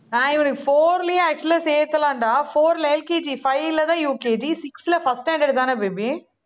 ஆஹ் இவனுக்கு four லயே actual ஆ சேத்தலாம்டா. four ல LKGfive லதான் UKGsix ல first standard தானே baby